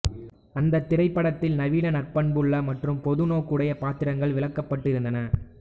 அந்த திரைப்படத்தில் நவீன நற்பண்புள்ள மற்றும் பொது நோக்குடைய பாத்திரங்கள் விளக்கப்பட்டிருந்தன